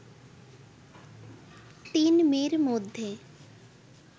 তিন মেয়ের মধ্যে